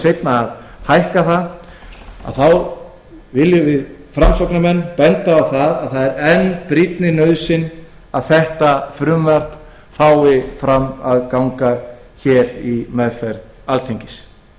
seinna viljum við framsóknarmenn benda á að það er enn brýnni nauðsyn að þetta frumvarp nái fram að ganga á alþingi einnig